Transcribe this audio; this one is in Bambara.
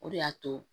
O de y'a to